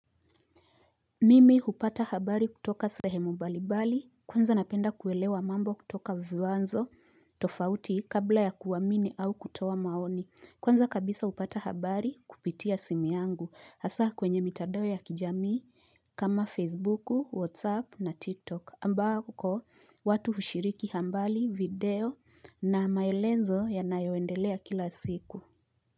Mimi upata habari kutoka sahemu mbalibali kwanza napenda kuelewa mambo kutoka viwanzo tofauti kabla ya kuamini au kutoa maoni kwanza kabisa upata habari kupitia simi yangu hasa kwenye mitadao ya kijamii kama facebook, whatsapp na tiktok ambako watu hushiriki habari video na maelezo ya nayoendelea kila siku.